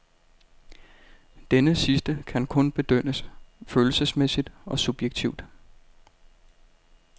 Denne sidste kan kun bedømmes følelsesmæssigt og subjektivt.